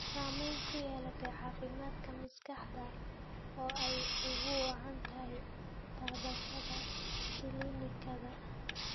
Saamayn ku yeelata caafimaadka maskaxda oo ay ugu wacan tahay taabashada kiimikada.